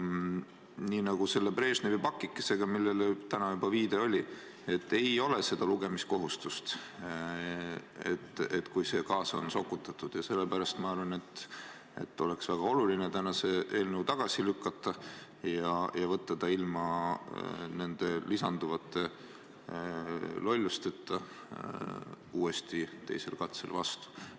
Nii nagu Brežnevi pakikesega, millele täna on juba viidatud, ei ole meil lugemiskohustust, kui see kaasa on sokutatud, ja sellepärast ma arvan, et on väga oluline see eelnõu täna tagasi lükata ja võtta see ilma nende lisanduvate lollusteta teisel katsel vastu.